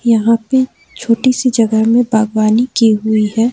यहां पे छोटी सी जगह में बागवानी की हुई है।